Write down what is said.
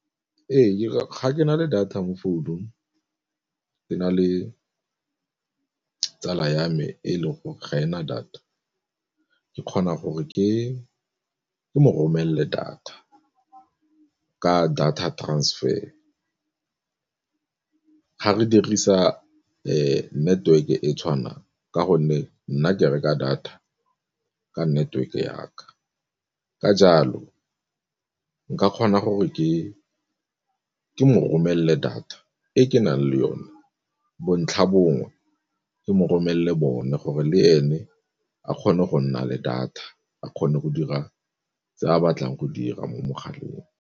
Ee, ga ke na le data mo phone-ung ke na le tsala ya me e leng gore ga ena data ke kgona gore ke mo romelele data ka data transfer, ga re dirisa network-e e tshwanang ka gonne nna ke reka data ka network ya ka. Ka jalo nka kgona gore ke mo romelele data e ke nang le yone, bontlhabongwe ke mo romelele bone gore le ene a kgone go nna le data a kgone go dira tse a batlang go dira mo mogaleng.